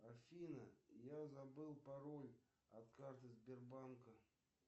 афина я забыл пароль от карты сбербанка